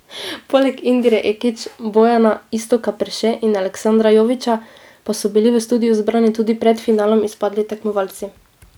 Poleg Indire Ekić, Bojana, Iztoka Perše in Aleksandra Jovića pa so bili v studiu zbrani tudi pred finalom izpadli tekmovalci.